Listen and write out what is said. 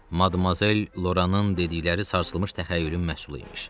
Madmazel Loranın dedikləri sarsılmış təxəyyülün məhsulu imiş.